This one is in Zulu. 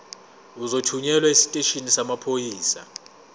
uzothunyelwa esiteshini samaphoyisa